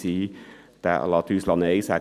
Dieser lässt uns